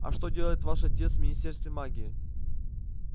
а что делает ваш отец в министерстве магии